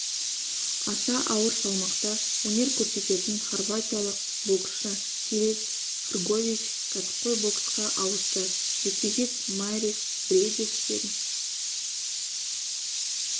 аса ауыр салмақта өнер көрсететін хорватиялық боксшы филип хргович кәсіпқой боксқа ауысты жекпе-жек майрис бриедис пен